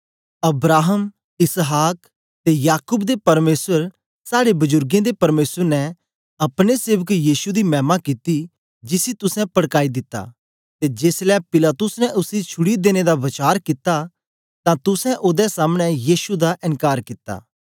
Abraham इसहाक ते याकूब दे परमेसर साड़े बुजुर्गें दे परमेसर ने अपने सेवक यीशु दी मैमा कित्ती जिसी तुसें पड़काई दित्ता ते जेसलै पिलातुस ने उसी छुड़ी देने दा वचार कित्ता तां तुसें ओदे सामने यीशु दा एन्कार कित्ता